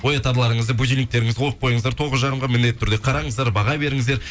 оятарларыңызды будильниктеріңізді қойып қойыңыздар тоғыз жарымға міндетті түрде қараңыздар баға беріңіздер